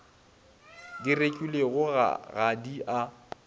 di rekilwego ga di a